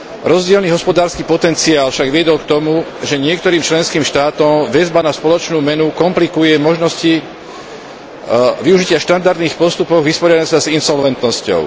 Rozdielny hospodársky potenciál však viedol k tomu, že niektorým členským štátom väzba na spoločnú menu komplikuje možnosti využitia štandardných postupov vyrovnania sa s insolventnosťou.